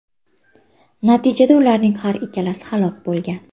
Natijada ularning har ikkalasi halok bo‘lgan.